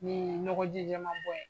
Nin ɲɔgɔji jɛma bɔ in